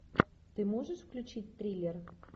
ты можешь включить триллер